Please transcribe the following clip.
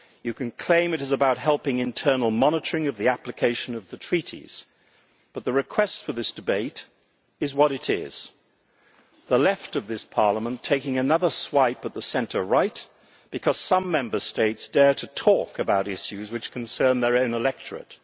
you can claim it is about helping internal monitoring of the application of the Treaties, but the request for this debate is what it is the Left of this Parliament is taking another swipe at the centre Right because some Member States dare to talk about issues which concern their own electorate.